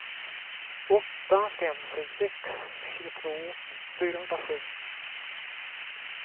åtta fem sju sex tjugotvå fyrahundrasju